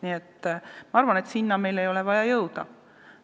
Nii et ma arvan, et sellisesse olukorda ei ole meil vaja jõuda.